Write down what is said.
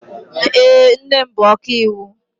Èé, nne m bụ ọkaiwu.